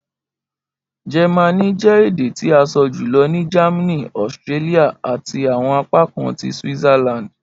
Jẹmánì jẹ ede ti a sọ julọ ni Germany, Austria, ati awọn apakan ti Switzerland.